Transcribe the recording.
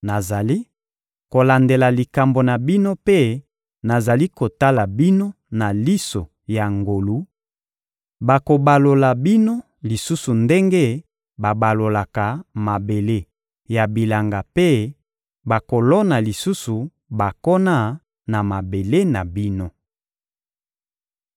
Nazali kolandela likambo na bino mpe nazali kotala bino na liso ya ngolu; bakobalola bino lisusu ndenge babalolaka mabele ya bilanga mpe bakolona lisusu bankona na mabele na bino.